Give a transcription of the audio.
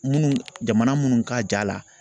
Munnu jamana munnu ka ja la